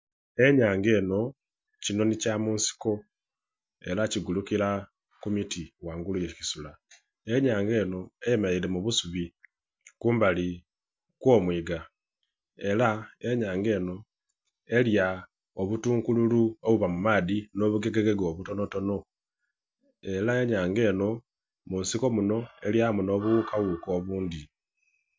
Enhange eno kinhonhi kyamunsiko era kigulukira kumuti ghangulu yekisula. Enhange eno eyemereire mubusubi kumbali okwomwiiga era enhange eno elya obutunkululu obuuba mumaadhi nho bugegege obutono tono, era enhange eno munsiko munho elyamu obughuka ghuka obundhi.